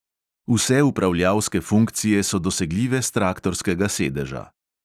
Vse upravljalske funkcije so dosegljive s traktorskega sedeža.